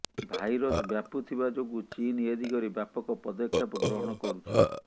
virus ବ୍ୟାପୁଥିବା ଯୋଗୁଁ ଚୀନ୍ ଏ ଦିଗରେ ବ୍ୟାପକ ପଦକ୍ଷେପ ଗ୍ରହଣ କରୁଛି